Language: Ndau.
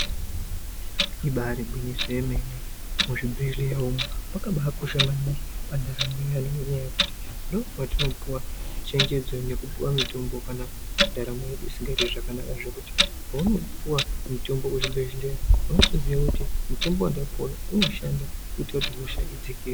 Ibari gwinyiso yemene muzvibhehleya umu mwakabakosha maningi pandaramo yeantu ngenyaya yekuti ndomwatinopuwa chenjedzo nekupiwa mutombo kana ndaramo yedu isikaiti zvakanaka zvekuti paunopuwa mutombo kuzvibhedhleya unochiziya kuti mutombo wandapuwa unoshanda kuti hosha idzikire.